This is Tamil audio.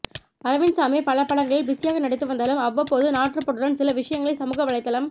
அரவிந்த் சாமி பல படங்களில் பிஸியாக நடித்து வந்தாலும் அவ்வப்போது நாட்டு பற்றுடன் சில விஷயங்களை சமூக வலைத்தளம்